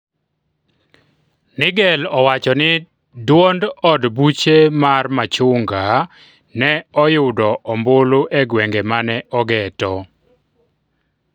Nigel owacho ni duond od buche mar machunga ne oyudo ombulu e gwenge mane ogeto